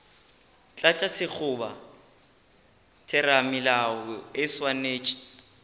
tlatša sekgoba theramelao e swanetše